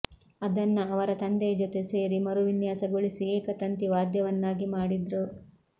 ಅದನ್ನ ಅವರ ತಂದೆಯ ಜೊತೆ ಸೇರಿ ಮರುವಿನ್ಯಾಸಗೊಳಿಸಿ ಏಕ ತಂತಿ ವಾದ್ಯವನ್ನಾಗಿ ಮಾಡಿದ್ರು